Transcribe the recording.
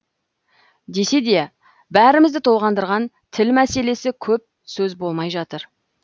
десе де бәрімізді толғандырған тіл мәселесі көп сөз болмай жатыр